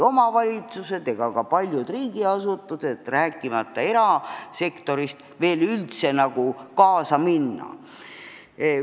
Omavalitsused ega ka paljud riigiasutused, rääkimata erasektorist, ei suuda siiski üldse veel sellega kaasa minna.